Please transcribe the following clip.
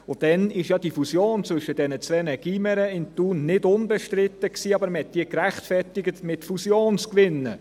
Dann war ja die Fusion zwischen diesen beiden Gymnasien in Thun nicht unbestritten, aber man rechtfertigte sie mit Fusionsgewinnen.